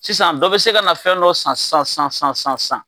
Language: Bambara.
Sisan dɔ bɛ se ka na fɛn dɔ san san san san san san.